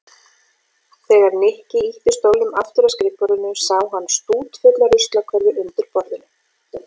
Þegar Nikki ýtti stólnum aftur að skrifborðinu sá hann stútfulla ruslakörfu undir borðinu.